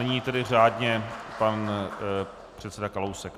Nyní tedy řádně pan předseda Kalousek.